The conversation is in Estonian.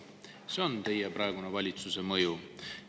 See on teie praeguse valitsuse mõju.